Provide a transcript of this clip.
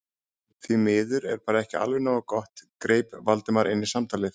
Því miður er bara ekki alveg nógu gott- greip Valdimar inn í samtalið.